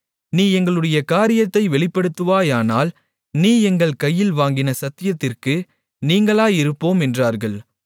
நீ எங்களுடைய காரியத்தை வெளிப்படுத்துவாயானால் நீ எங்கள் கையில் வாங்கின சத்தியத்திற்கு நீங்கலாயிருப்போம் என்றார்கள்